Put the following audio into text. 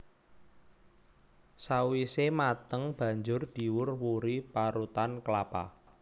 Sawisé mateng banjur diwur wuri parutan klapa